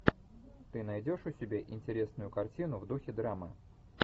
ты найдешь у себя интересную картину в духе драмы